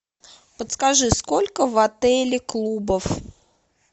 подскажи сколько в отеле клубов